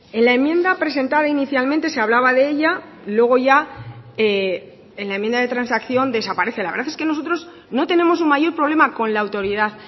en la enmienda presentada inicialmente se hablaba de ella luego ya en la enmienda de transacción desaparece la verdad es que nosotros no tenemos un mayor problema con la autoridad